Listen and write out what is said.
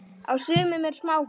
Á sumum eru smáhús.